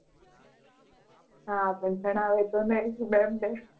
હા પણ જણાવે તો Nency mem ને.